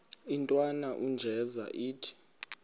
intwana unjeza ithi